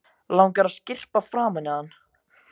Langar að skyrpa framan í hann.